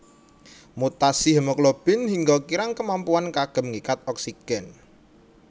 Mutasi hemoglobin hingga kirang kemampuan kanggem ngikat oksigen